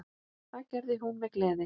Það gerði hún með gleði.